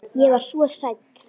Ég var svo hrædd.